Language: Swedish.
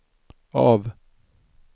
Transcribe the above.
av